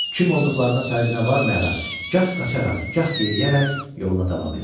Kim olduqlarının fərqinə varmayaraq gah qaçaraq, gah yeriyərək yoluna davam elədi.